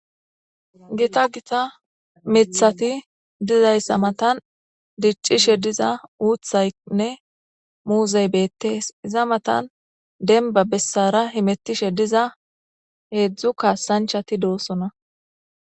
gita gita mithati dizaysa matan dicishe diza uthaynne muzey betese iza matan denba besara hemetishe diza hedzu kasachati dosona